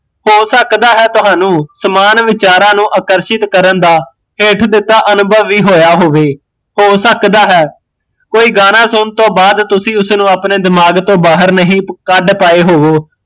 ਹੋ ਸਕਦਾ ਹੈ ਤੁਹਾਨੂ ਸਮਾਨ ਵਿਚਾਰਾਂ ਨੂੰ ਆਕਰਸ਼ਿਤ ਕਰਨ ਦਾ ਹੇਠ ਦਿੱਤਾ ਅਨੁਭਵ ਵੀ ਹੋਇਆ ਹੋਵੇ ਹੋ ਸਕਦਾ ਹੈ ਕੋਈ ਗਾਣਾ ਸੁਣਨ ਤੋਂ ਬਾਦ ਤੁਸੀਂ ਉਸਨੂ ਅਪਣੇ ਦਿਮਾਗ ਤੋਂ ਬਾਹਰ ਨਾ ਕੱਡ ਪਾਏ ਹੋਵੋ